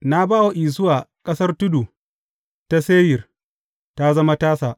Na ba wa Isuwa ƙasar tudu ta Seyir, ta zama tasa.